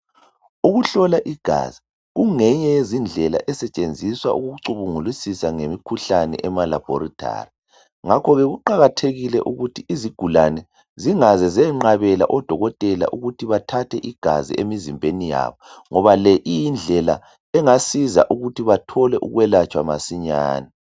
Ukuhlola igazi kungeyinye yendlela esetshenziswa ukucubungulisisa ngemikhuhlane emalabholithali. Ngakho ke kuqakathekile ukuthi izigulane zingaze ziyenqabela odokotela ukuthi bathathe igazi emizimbeni yabo. Ngoba le iyindlela engasiza ukuthi bathole ukwelatshwa masinyane.